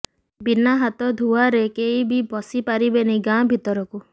ବିନା ହାତ ଧୁଆରେ କେହି ବି ପସି ପାରିବେନି ଗାଁ ଭିତରକୁ